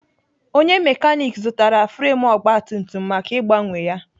Onye mekanik zụtara fremu ogbatumtum maka ịgbanwe ya.